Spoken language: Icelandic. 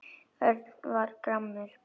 Örn varð gramur.